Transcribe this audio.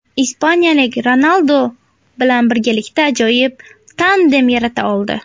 Ispaniyalik Ronaldu bilan birgalikda ajoyib tandem yarata oldi.